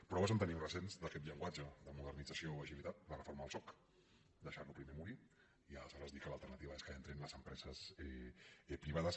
proves en tenim recents d’aquest llenguatge de modernització agilitat la reforma del soc deixar·lo primer morir i alesho·res dir que l’alternativa és que entrin les empreses pri·vades